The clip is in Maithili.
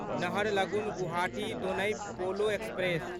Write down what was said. नहरलगुन गुवाहाटी दोनई पोलो एक्सप्रेस